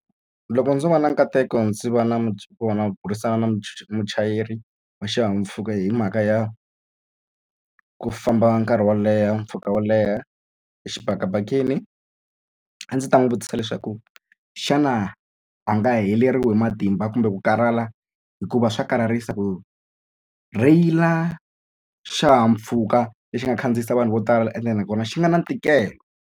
Loko ndzo va na nkateko ndzi va ku va na mburisano na muchayeri wa xihahampfhuka hi mhaka ya ku famba nkarhi wo leha mpfhuka wo leha exibakabakeni a ndzi ta n'wi vutisa leswaku xana a nga heleriwi hi matimba kumbe ku karhala hikuva swa karharisa ku rheyila xihahampfhuka lexi nga khandziyisa vanhu vo tala ende nakona xi nga na ntikelo.